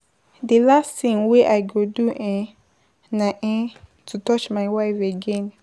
The last thing wey I go do um na um to touch my wife again.